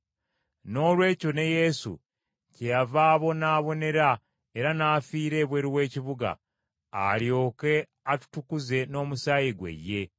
Noolwekyo ne Yesu kyeyava abonaabonera era n’afiira ebweru w’ekibuga alyoke atutukuze n’omusaayi gwe ye.